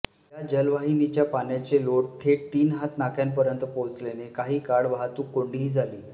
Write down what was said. या जलवाहिनीच्या पाण्याचे लोट थेट तीन हात नाक्यापर्यंत पोहचल्याने काही काळ वाहतूक कोंडीही झाली